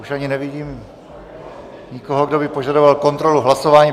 Už ani nevidím nikoho, kdo by požadoval kontrolu hlasování.